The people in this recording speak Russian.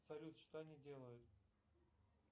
салют что они делают